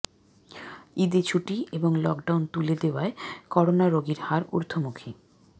ঈদে ছুটি এবং লকডাউন তুলে দেওয়ায় করোনা রোগীর হার ঊর্ধ্বমুখী